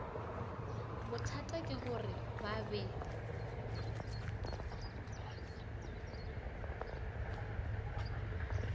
bothata ke gore ba be